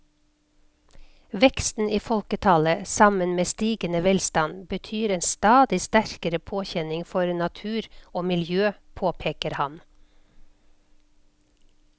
Veksten i folketallet sammen med stigende velstand betyr en stadig sterkere påkjenning for natur og miljø, påpeker han.